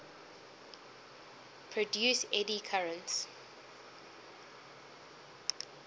produce eddy currents